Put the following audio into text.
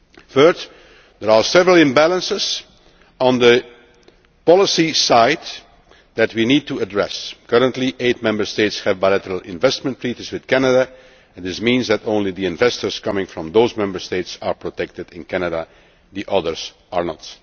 of the European Union. Thirdly, there are several imbalances on the policy side that we need to address currently eight Member States have bilateral investment treaties with Canada and this means that only investors from those Member States are protected in Canada,